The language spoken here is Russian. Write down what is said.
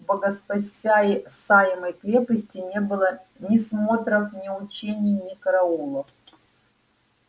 в богоспасаемой крепости не было ни смотров ни учений ни караулов